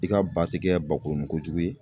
I ka ba te kɛ ba kurunin kojugu ye